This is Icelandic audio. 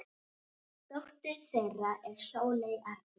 Dóttir þeirra er Sóley Arna.